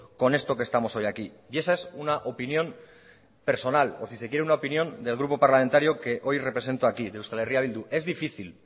con esto que estamos hoy aquí eso es una opinión personal por si se quiere una opinión del grupo parlamentario que hoy represento aquí de eh bildu es difícil